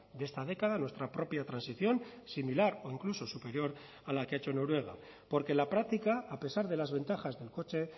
de esta década nuestra propia transición similar o incluso superior a la que ha hecho noruega porque la práctica a pesar de las ventajas del coche